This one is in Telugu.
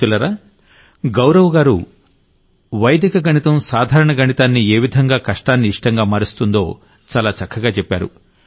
మిత్రులారా గౌరవ్ గారు అసలు వైదిక గణితం సాధారణ గణితాన్ని ఏ విధంగా కష్టాన్ని ఇష్టంగా మారుస్తుందో చాలా చక్కగా చెప్పారు